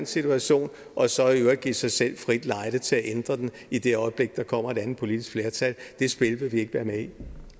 situation og så i øvrigt give sig selv frit lejde til at ændre den i det øjeblik der kommer et andet politisk flertal det spil vil vi ikke være med